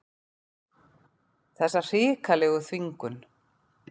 Þessa hrikalegu þvingun.